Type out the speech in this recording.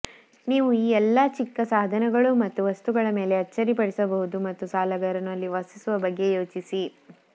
ನೀವು ಎಲ್ಲಾ ಚಿಕ್ಕ ಸಾಧನಗಳು ಮತ್ತು ವಸ್ತುಗಳ ಮೇಲೆ ಅಚ್ಚರಿಪಡಿಸಬಹುದು ಮತ್ತು ಸಾಲಗಾರನು ಅಲ್ಲಿ ವಾಸಿಸುವ ಬಗ್ಗೆ ಯೋಚಿಸಿ